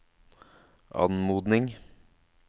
anmodning